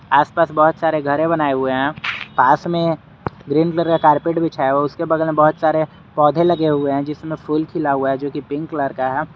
आसपास बहोत सारे घरे बनाए हुए हैं पास में ग्रीन कलर का कारपेट बिछाया हुआ है उसके बगल बहोत सारे पौधे लगे हुए हैं जिसमें फूल खिला हुआ है जो की पिंक कलर का है।